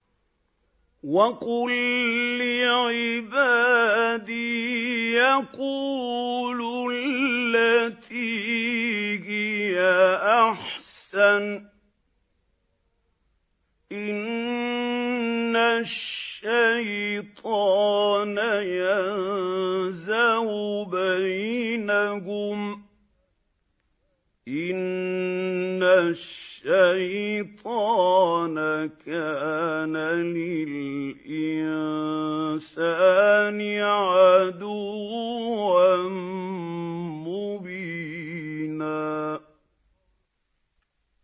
وَقُل لِّعِبَادِي يَقُولُوا الَّتِي هِيَ أَحْسَنُ ۚ إِنَّ الشَّيْطَانَ يَنزَغُ بَيْنَهُمْ ۚ إِنَّ الشَّيْطَانَ كَانَ لِلْإِنسَانِ عَدُوًّا مُّبِينًا